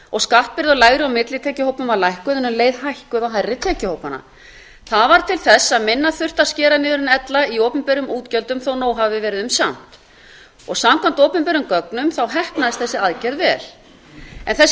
og skattbyrði á lægri og millitekjuhópum var lækkuð en um leið hækkun á hærri tekjuhópana það varð til þess að minna þurfti að skera niður en ella í opinberum útgjöldum þó nóg hafi ber um samt samkvæmt opinberum gögnum heppnaðist þessi aðgerð vel en þessi